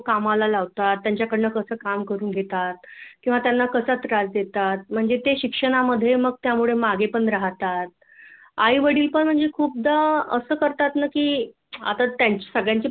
कामाला लावतात त्यांच्याकडनं कस काम करून घेतात किंवा त्यांना कसा त्रास देतात म्हणजे ते शिक्षणामध्ये त्यामुळे मागे पण राहतात आईवडील पण खूपदा असं करतात ना की आता त्यांच्या सगळ्यांची